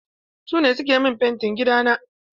Su ne suke min fentin gidana.